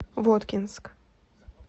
воткинск